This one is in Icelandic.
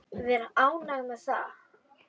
Vera ánægð með það.